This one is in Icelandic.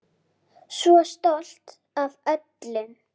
Svo stolt af öllum.